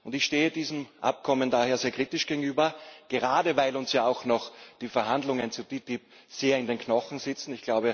Ich stehe diesem Abkommen daher sehr kritisch gegenüber, gerade weil uns ja auch noch die Verhandlungen zur TTIP in den Knochen sitzen.